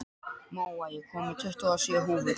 Móa, ég kom með tuttugu og sjö húfur!